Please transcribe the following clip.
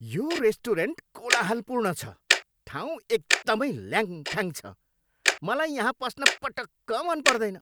यो रेस्टुरेन्ट कोलाहलपूर्ण छ, ठाउँ एकदमै ल्याङफ्याङ छ, मलाई यहाँ पस्न पटक्क मन पर्दैन।